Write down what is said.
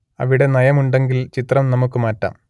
അവിടെ നയം ഉണ്ടെങ്കിൽ ചിത്രം നമുക്ക് മാറ്റാം